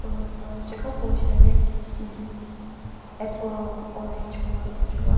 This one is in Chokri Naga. ulüsü cekhapoo sheri umm apple orange ko qwüva mu --